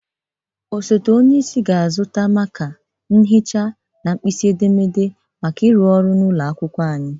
Osote onyeisi ga-azụta maka, nkahịrị, mhịcha na nkpisi edemede maka ịrụ ọrụ n'ụlọ akwụkwọ anyị.